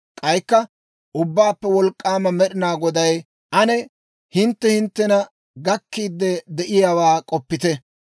K'aykka Ubbaappe Wolk'k'aama Med'inaa Goday, «Ane hintte hinttena gakkiidde de'iyaawaa k'oppite.